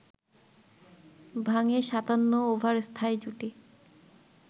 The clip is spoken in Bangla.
ভাঙে ৫৭ ওভার স্থায়ী জুটি